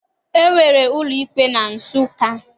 E nwere ụlọikpe na Nsụka.